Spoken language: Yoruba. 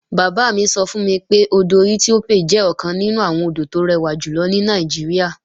Bàbá mi sọ fún mi pé, odò Ethiope jẹ́ ọ̀kan nínú àwọn odò tó rẹwà jùlọ ní Nàìjíríà